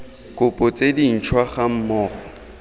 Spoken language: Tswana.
kopo tse dintšhwa ga mmogo